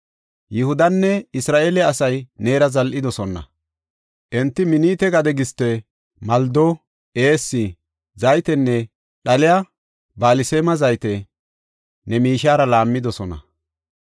Yihudanne Isra7eele asay neera zal7idosona; enti Minite gade giste, maldo, eessi, zaytenne dhalliya balsaame zayte ne miishiyara laammidosona.